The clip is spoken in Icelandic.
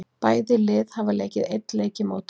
Bæði lið hafa leikið einn leik í mótinu.